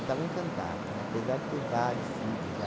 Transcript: Ele estava encantado, né, apesar de ter vários filhos já.